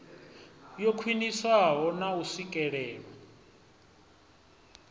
yo khwiniswaho na u swikelelwa